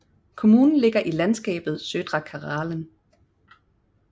Kommunen ligger i landskabet Södra Karelen